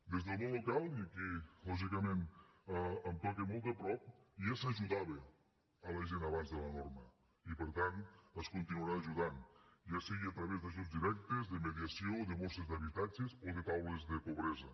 des del món local i aquí lògicament em toca molt de prop ja s’ajudava la gent abans de la norma i per tant es continuarà ajudant ja sigui a través d’ajuts directes de mediació de borses d’habitatges o de taules de pobresa